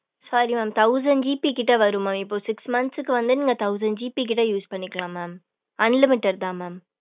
sorry mam thousand GB கிட்ட வரும் mam இப்ப six month க்கு வந்து நீங்க thousand GB கிட்ட use பண்ணிக்கலா mam unlimited தா mam